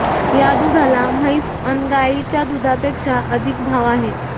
या दुधाला म्हैस अन् गायीच्या दुधापेक्षा अधिक भाव आहे